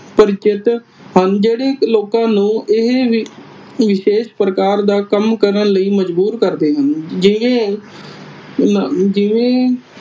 ਪ੍ਰਰਿਚਿਤ ਹਨ। ਜਿਹੜੇ ਲੋਕਾਂ ਨੂੰ ਇਹ ਵਿਸ਼ੇਸ਼ ਪ੍ਰਕਾਰ ਦਾ ਕੰਮ ਕਰਨ ਲਈ ਮਜਬੂਰ ਕਰਦੇ ਹਨ। ਜਿਹੇ ਜਿਹੇ